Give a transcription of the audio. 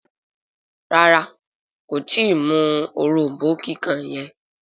ràrá kò tí mú òrombó kíkàn yen.